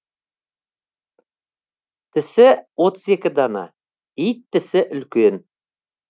тісі отыз екі дана ит тісі үлкен